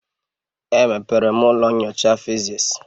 Emepere m ụlọ nyocha physics.